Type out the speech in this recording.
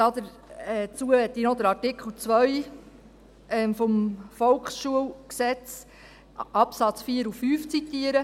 Dazu möchte ich noch Absatz 4 und 5 von Artikel 2 des Volksschulgesetzes (VSG) zitieren: